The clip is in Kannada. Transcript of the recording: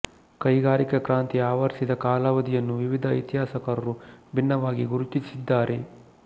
ಕೈಗಾರಿಕಾ ಕ್ರಾಂತಿ ಆವರಿಸಿದ ಕಾಲಾವಧಿಯನ್ನು ವಿವಿಧ ಇತಿಹಾಸಕಾರರು ಭಿನ್ನವಾಗಿ ಗುರುತಿಸಿದ್ದಾರೆ